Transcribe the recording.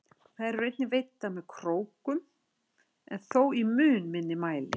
Þær eru einnig veiddar með krókum en þó í mun minni mæli.